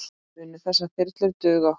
Munu þessar þyrlur duga okkur?